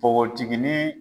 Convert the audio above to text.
Npogotiginin